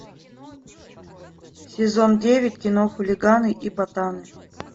сезон девять кино хулиганы и ботаны